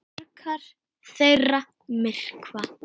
Margar þeirra myrkva.